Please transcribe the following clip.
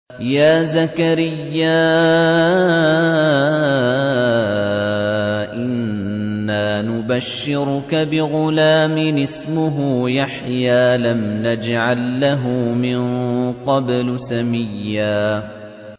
يَا زَكَرِيَّا إِنَّا نُبَشِّرُكَ بِغُلَامٍ اسْمُهُ يَحْيَىٰ لَمْ نَجْعَل لَّهُ مِن قَبْلُ سَمِيًّا